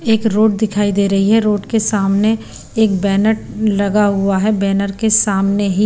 एक रोड दिखाई दे रही है रोड के सामने एक बैनर लगा हुआ है बैनर के सामने ही--